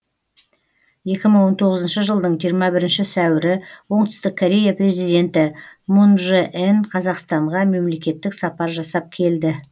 екі мың он тоғызыншы жылдың жиырма бірінші сәуірі оңтүстік корея президенті мұн же ен қазақстанға мемлекеттік сапар жасап келді